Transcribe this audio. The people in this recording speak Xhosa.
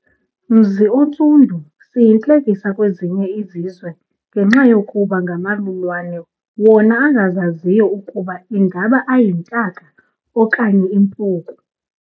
Mzi oNtsundu siyintlekisa kwezinye izizwengenxa yokuba ngamalulwane wona angazaziyo ukuba ingaba ayintaka okanye impuku.